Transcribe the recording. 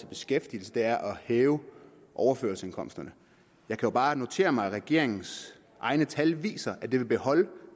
beskæftigelsen er at hæve overførselsindkomsterne jeg kan bare notere mig at regeringens egne tal viser at vil beholde